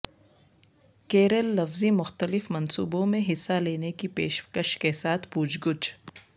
کیریل لفظی مختلف منصوبوں میں حصہ لینے کی پیشکش کے ساتھ پوچھ گچھ